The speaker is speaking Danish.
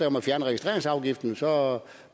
om at fjerne registreringsafgiften så